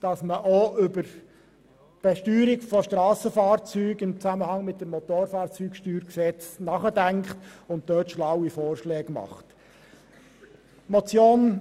Man kann auch über die Besteuerung von Strassenfahrzeugen im Zusammenhang mit dem Gesetz über die Besteuerung der Strassenfahrzeuge (BSFG) nachdenken und hierzu schlaue Vorschläge unterbreiten.